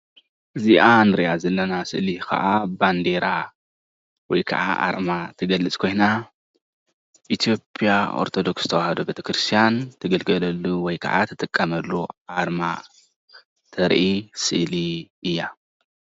እዚ ምስሊ ናይ ኢትዮጵያ ሃይማኖት ክርስትና ዝጥቀምሉ ባንዴራ ወይ ከዓ ምልክት እዩ።